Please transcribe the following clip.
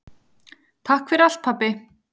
Takk fyrir allt pabbi.